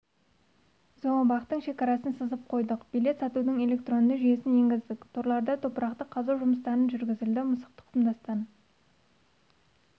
зообақтың шекарасын сызып қойдық билет сатудың электронды жүйесін енгіздік торларда топырақты қазу жұмыстарын жүргізілді мысық тұқымдастан